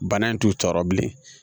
Bana in t'u tɔɔrɔ bilen